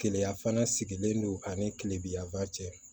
Keleya fana sigilen don ani kilebiya cɛ